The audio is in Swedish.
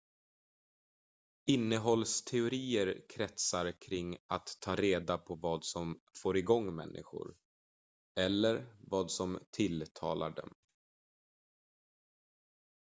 innehållsteorier kretsar kring att ta reda på vad som får igång människor eller vad som tilltalar dem